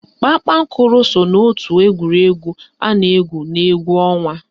Kpakpankoro so n'ótù egwuregwu a na-égwù n'égwú ọnwa